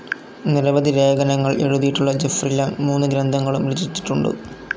നിരവധി ലേഖനങ്ങൾ എഴുതീട്ടുള്ള ജെഫ്രി ലാങ് മൂന്ന് ഗ്രന്ഥങ്ങളും രചിച്ചിട്ടുണ്ട്.